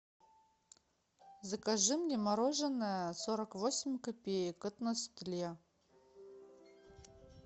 закажи мне мороженое сорок восемь копеек от нестле